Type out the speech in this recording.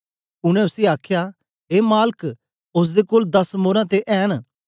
उनै उसी आखया ए मालक ओसदे कोल दस मोरां ते ऐ न